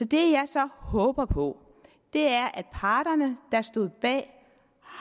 det jeg så håber på er at parterne der stod bag